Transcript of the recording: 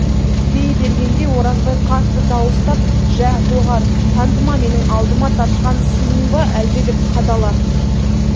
дей бергенде оразбай қатты дауыстап жә доғар тантыма менің алдыма тартқан сыйың ба әлде деп қадала